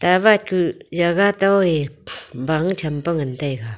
towat kuh jagah tobe bang champa ngan taiga.